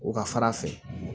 O ka fara a fɛ